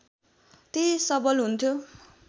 त्यही सबल हुन्थ्यो